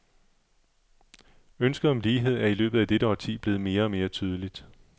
Ønsket om lighed er i løbet af dette årti blevet mere og mere tydeligt.